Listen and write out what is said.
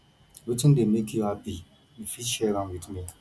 wetin dey make you happy you fit share with me